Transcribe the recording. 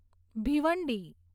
Bhiwandi